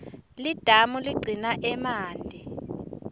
lidamu ligcina emanti